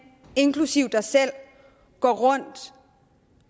inklusive dig selv går rundt